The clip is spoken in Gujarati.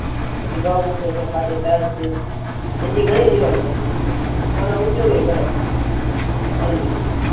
પછી ગોમૂત્ર છે ખાટી છાસ છે એના થી ઘણી જીવાત મારી જાય પણ ઉપયોગી પણ કરે છે ઘણી રીતે